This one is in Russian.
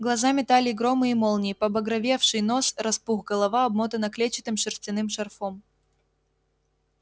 глаза метали громы и молнии побагровевший нос распух голова обмотана клетчатым шерстяным шарфом